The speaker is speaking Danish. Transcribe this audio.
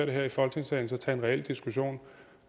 det her i folketingssalen så tage en reel diskussion